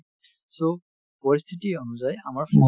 so, পৰিস্থিতি অনুযায়ী আমাৰ fashion